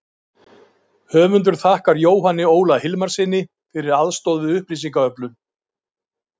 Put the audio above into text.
Höfundur þakkar Jóhanni Óla Hilmarssyni fyrir aðstoð við upplýsingaöflun.